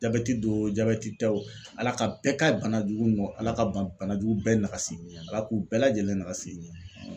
Jabɛti do o jabɛti tɛ o Ala ka bɛɛ ka banajugu nɔ Ala ka ban banajugu bɛɛ nagasi Ala k'u bɛɛ lajɛlen nagasi.